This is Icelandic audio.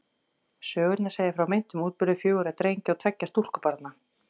Sögurnar segja frá meintum útburði fjögurra drengja og tveggja stúlkubarna.